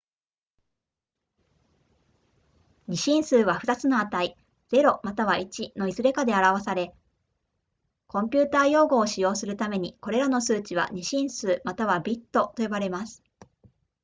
2進数は、2つの値0または1のいずれかで表され、コンピュータ用語を使用するために、これらの数値は2進数またはビットと呼ばれます